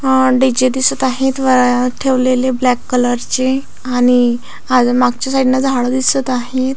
अ DJ. दिसत आहेत वर ठेवलेले ब्लॅक कलरचे आणि अजून मागच्या साईडन झाड दिसत आहेत.